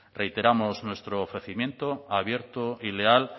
reiteramos nuestro ofrecimiento abierto y leal